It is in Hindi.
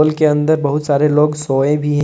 के अंदर बहुत सारे लोग सोए भी--